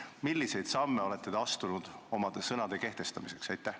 Milliseid samme olete te astunud oma sõnade kehtestamiseks?